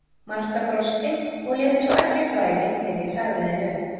Marta brosti og lét eins og ekkert væri þegar ég sagði henni upp.